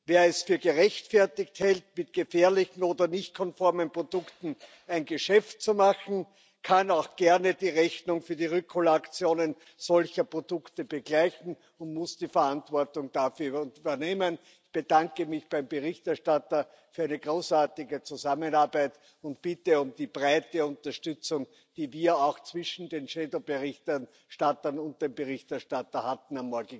Wer es für gerechtfertigt hält, mit gefährlichen oder nicht konformen Produkten ein Geschäft zu machen, kann auch gerne die Rechnung für die Rückholaktionen solcher Produkte begleichen und muss die Verantwortung dafür übernehmen. Ich bedanke mich beim Berichterstatter für eine großartige Zusammenarbeit und bitte um die breite Unterstützung am morgigen Tag, die wir auch zwischen den Schattenberichterstattern und dem Berichterstatter hatten.